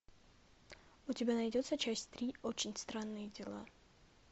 у тебя найдется часть три очень странные дела